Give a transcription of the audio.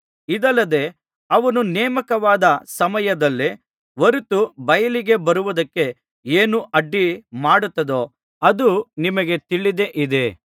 ಇದಲ್ಲದೆ ಅವನು ನೇಮಕವಾದ ಸಮಯದಲ್ಲೇ ಹೊರತು ಬಯಲಿಗೆ ಬರುವುದಕ್ಕೆ ಏನು ಅಡ್ಡಿ ಮಾಡುತ್ತದೋ ಅದು ನಿಮಗೆ ತಿಳಿದೇ ಇದೆ